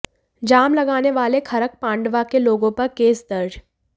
जाम लगाने वाले खरक पांडवा के लोगों पर केस दर्ज